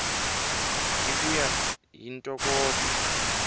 hi ku ya hi ntokoto